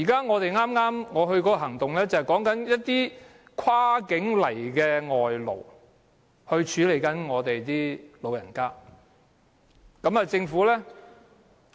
我剛剛出席的行動，便是關於一些跨境來港處理我們老人問題的外勞。